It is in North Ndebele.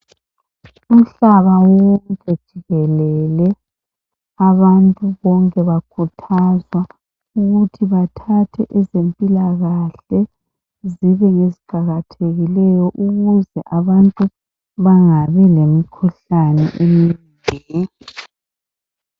Umhlaba wonke jikelele abantu bonke bakhuthazwa ukuthi bathathe ezempilakahle zibe ngeziqakathekileyo ukuze abantu bangabi lemikhuhlane eminengi